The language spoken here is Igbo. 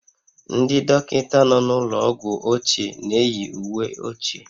Ndị dọkịta nọ n'ụlọ ọgwụ ochie na-eyi uwe ochie